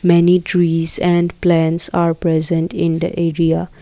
Many trees and plants are present in the area.